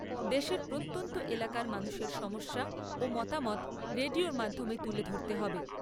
দেশের প্রত্যন্ত এলাকার মানুষের সমস্যা ও মতামত রেডিওর মাধ্যমে তুলে ধরতে হবে।